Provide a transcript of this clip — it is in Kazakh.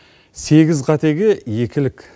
сегіз қатеге екілік